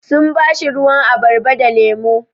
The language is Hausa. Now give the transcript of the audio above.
Sun ba shi ruwan abarba da lemu.